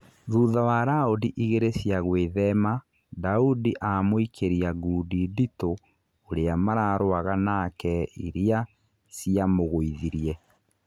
Thutha wa raũndi igĩrĩ cia gũĩthema Daundi amũikĩria ngundi ndĩtũ ũrĩa mararũaga nake iria ciamũgũithirie.